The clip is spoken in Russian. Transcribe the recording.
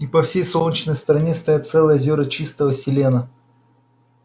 и по всей солнечной стороне стоят целые озёра чистого селена